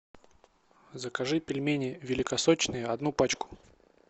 закажи пельмени великосочные одну пачку